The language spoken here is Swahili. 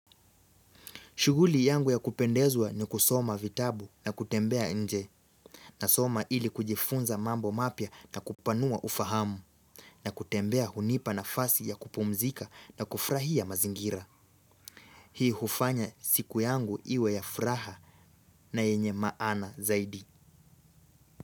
Shughuli yangu ya kupendezwa ni kusoma vitabu na kutembea nje, na soma ili kujifunza mambo mapya na kupanua ufahamu, na kutembea hunipa nafasi ya kupumzika na kufurahia mazingira. Hii hufanya siku yangu iwe ya furaha na yenye maana zaidi.